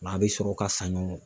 O la, a bɛ sɔrɔ ka san ɲɔgɔn